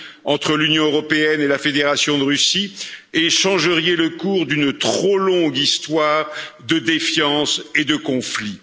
entre l'Union européenne et la Fédération de Russie et changeriez le cours d'une trop longue histoire de défiance et de conflits.